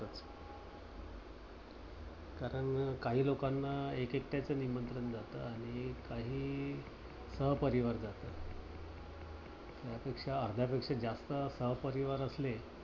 कारण काही लोकांना एक एकेकट्यांच निमंत्रण जात आणि काही सहपरिवार जात. त्यापेक्षा अर्ध्यापेक्षा जास्त सहपरिवार असले.